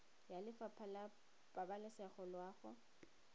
ya lefapha la pabalesego loago